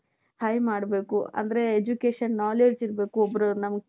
high ಮಾಡ್ಬೇಕು ಅಂದ್ರೆ education knowledge ಇರ್ಬೇಕು ಒಬ್ರು ನಮಗೆ .